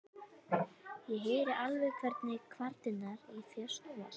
Ég heyri alveg hvernig kvarnirnar í þér snúast.